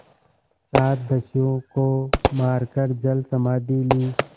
सात दस्युओं को मारकर जलसमाधि ली